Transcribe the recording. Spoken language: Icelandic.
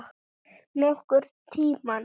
Nokkurn tímann.